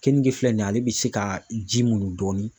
Kenige filɛ nin ye ale bɛ se ka ji muɲun dɔɔni.